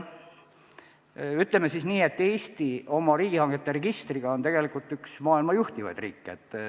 Ütleme nii, et Eesti oma riigihangete registriga on tegelikult üks maailma juhtivaid riike.